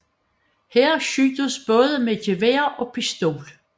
Her skydes både gevær og pistol